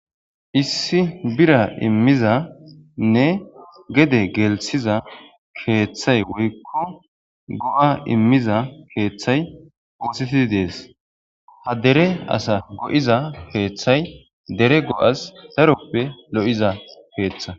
Issi bira immizanne gede gelthiza keeththay woyikko go'a immiza keeththay woosettidi dees ha dere asa go'iza keeththay dere go'as daroppe lo'iza pkeeththa